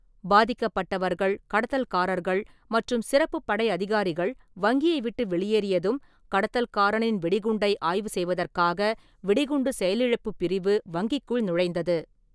பாதிக்கப்பட்டவர்கள், கடத்தல்காரர்கள் மற்றும் சிறப்புப் படை அதிகாரிகள் வங்கியை விட்டு வெளியேறியதும், கடத்தல்காரனின் வெடிகுண்டை ஆய்வு செய்வதற்காக வெடிகுண்டு செயலிழப்பு பிரிவு வங்கிக்குள் நுழைந்தது.